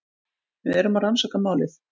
Við erum að rannsaka málið.